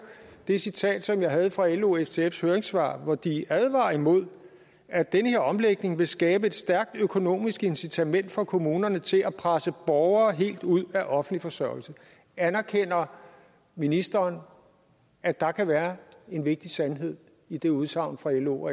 det citat som jeg havde fra lo ftfs høringssvar hvor de advarer imod at den her omlægning vil skabe et stærkt økonomisk incitament for kommunerne til at presse borgere helt ud af offentlig forsørgelse anerkender ministeren at der kan være en vigtig sandhed i det udsagn fra lo